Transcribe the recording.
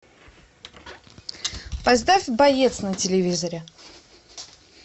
поставь боец на телевизоре